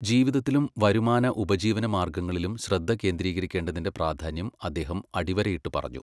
ജീവിതത്തിലും വരുമാന ഉപജീവന മാർഗ്ഗങ്ങളിലും ശ്രദ്ധ കേന്ദ്രീകരിക്കേണ്ടതിന്റെ പ്രാധാന്യം അദ്ദേഹം അടിവരയിട്ടു പറഞ്ഞു.